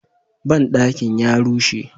Banɗakin ya rushe.